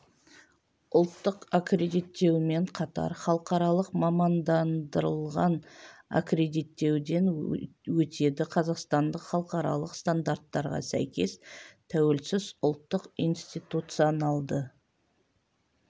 ұлттық аккредиттеумен қатар халықаралық мамандандырылған аккредиттеуден өтеді қазақстандық халықаралық стандарттарға сәйкес тәуелсіз ұлттық институционалды